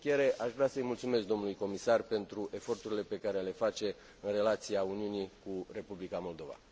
Și în încheiere, aș vrea să mulțumesc domnului comisar pentru eforturile pe care le face în relația Uniunii cu Republica Moldova.